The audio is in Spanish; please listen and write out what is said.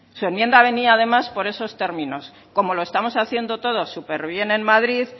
su enmienda venía además por esos términos como lo estamos haciendo todo superbién en madrid